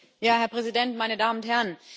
Herr Präsident, meine Damen und Herren!